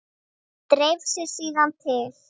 Dreif sig síðan til